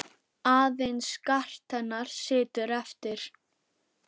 Aðeins skart hennar situr eftir.